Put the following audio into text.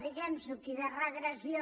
diguemnosho aquí de regressió